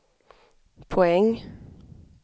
poäng